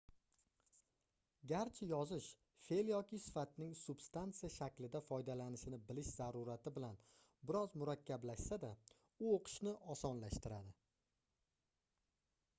garchi yozish feʼl yoki sifatning substansiya shaklida foydalanilishini bilish zarurati bilan bir oz murakkablashsa-da u oʻqishni osonlashtiradi